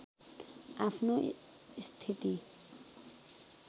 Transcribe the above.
आफ्नो स्थिति